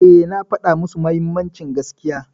Eh, na faɗa musu mahimmancin gaskiya.